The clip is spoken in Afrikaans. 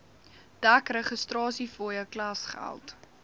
dek registrasiefooie klasgeld